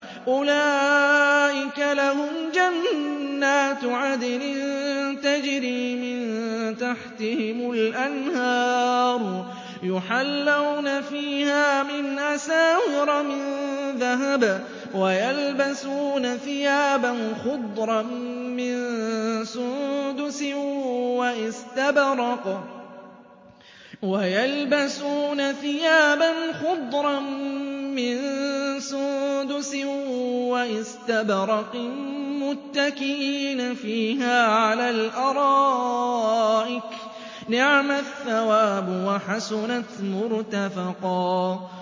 أُولَٰئِكَ لَهُمْ جَنَّاتُ عَدْنٍ تَجْرِي مِن تَحْتِهِمُ الْأَنْهَارُ يُحَلَّوْنَ فِيهَا مِنْ أَسَاوِرَ مِن ذَهَبٍ وَيَلْبَسُونَ ثِيَابًا خُضْرًا مِّن سُندُسٍ وَإِسْتَبْرَقٍ مُّتَّكِئِينَ فِيهَا عَلَى الْأَرَائِكِ ۚ نِعْمَ الثَّوَابُ وَحَسُنَتْ مُرْتَفَقًا